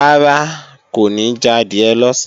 Rárá, kò ní jadìẹ lọ̀sán